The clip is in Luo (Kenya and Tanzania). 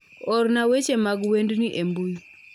Orna weche mag wendni embui